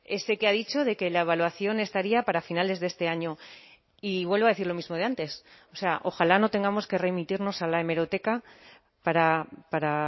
ese que ha dicho de que la evaluación estaría para finales de este año y vuelvo a decir lo mismo de antes o sea ojalá no tengamos que remitirnos a la hemeroteca para